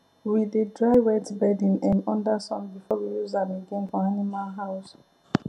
we dey dry wet bedding um under sun before we use am again for animal house